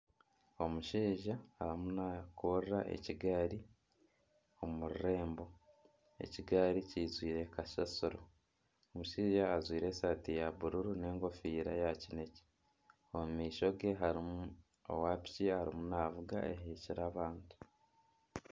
Omushaija arimu nakurura ekigaari omu rurembo. Ekigaari kyijwire kasasiro. Omushaija ajwire esaati ya bururu n'engofiira ya kinekye. Omu maishoge harimu owa piki arimu navuga ahekyire abantu.